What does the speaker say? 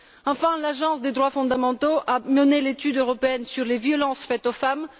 Enfin, l'Agence des droits fondamentaux a réalisé l'étude européenne sur les violences faites aux femmes.